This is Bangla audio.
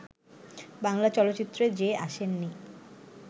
বাংলা চলচ্চিত্রে যে আসেননি